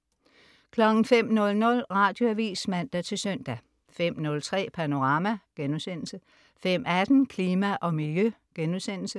05.00 Radioavis (man-søn) 05.03 Panorama* 05.18 Klima og Miljø*